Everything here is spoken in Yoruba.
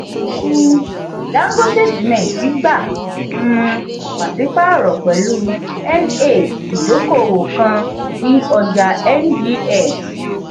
um dangote simenti gbà um pasipaaro pẹ̀lú n8 idokowo kan ní ọjà ngx.